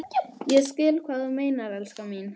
Ég skil hvað þú meinar, elskan mín.